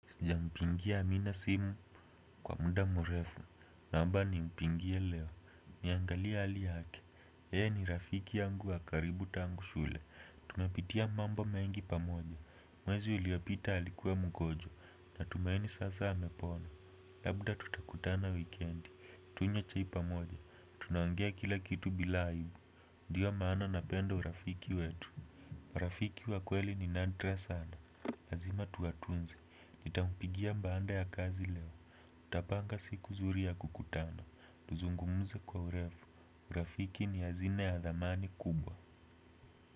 Sijampigia amina simu kwa muda mrefu, naomba nimpigie leo, niangalie hali yake, yeye ni rafiki yangu wa karibu tangu shule, tumepitia mambo mengi pamoja, mwezi uliopita alikuwa mgonjwa, natumaini sasa amepona. Labda tutakutana wikendi, tunywe chai pamoja, tunaongea kila kitu bila aibu ndio maana napenda urafiki wetu rafiki wa kweli ni nadra sana, lazima tuwatunze, nitampigia baada ya kazi leo, tutapanga siku nzuri ya kukutana, tuzungumze kwa urefu, urafiki ni hazina ya thamani kubwa.